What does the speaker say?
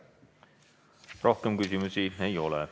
Rohkem küsimusi ei ole.